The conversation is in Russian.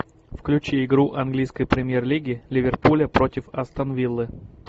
включи игру английской премьер лиги ливерпуля против астон виллы